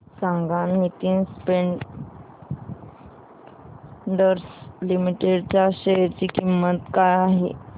सांगा Nitin spinners limited च्या share ची किंमत काय आहे